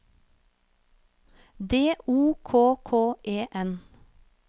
D O K K E N